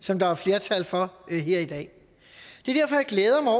som der er flertal for her i dag det er derfor jeg glæder mig